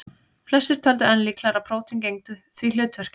Flestir töldu enn líklegra að prótín gegndu því hlutverki.